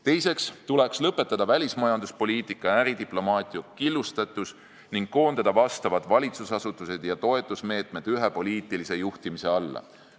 Teiseks tuleks lõpetada välismajanduspoliitika ja äridiplomaatia killustatus ning koondada vastavad valitsusasutused ja toetusmeetmed ühtse poliitilise juhtimise alla.